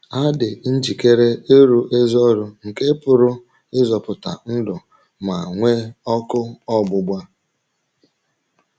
Ha dị njikere ịrụ ezi ọrụ nke pụrụ ịzọpụta ndụ ma e nwee ọkụ ọgbụgba.